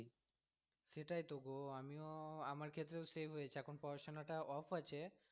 সেটাইতো গো আমিও আমার ক্ষেত্রেও সেই হয়েছে, এখন পড়াশোনাটা off আছে